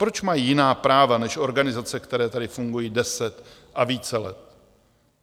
Proč mají jiná práva než organizace, které tady fungují 10 a více let?